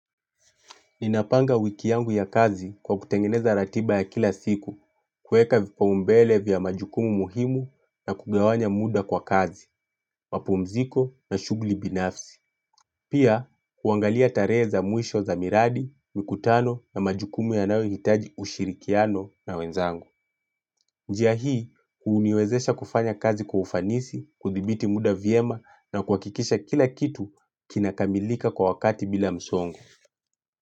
Ninapanga wiki yangu ya kazi kwa kutengeneza ratiba ya kila siku, kuweka vipaumbele vya majukumu muhimu na kugawanya muda kwa kazi, mapumziko na shughuli binafsi. Pia, kuangalia tarehe za mwisho za miradi, mikutano na majukumu yanayohitaji ushirikiano na wenzangu. Njia hii, huuniwezesha kufanya kazi kwa ufanisi, kuthibiti muda viema na kuhakikisha kila kitu kinakamilika kwa wakati bila msongo.